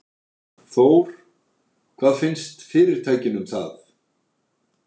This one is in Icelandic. Þór: Hvað finnst fyrirtækinu um það?